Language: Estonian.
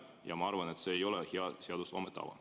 Ja ma arvan, et see ei ole hea seadusloome tava.